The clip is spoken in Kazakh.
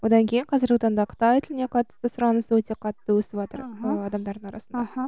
одан кейін қазіргі таңда қытай тіліне қатты сұраныс өте қатты өсіватыр аха адамдардың арасында аха